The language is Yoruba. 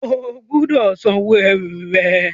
O gbúdọ̀ sanwó ẹrù rẹ!